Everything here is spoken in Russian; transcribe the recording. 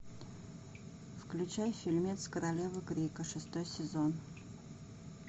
включай фильмец королева крика шестой сезон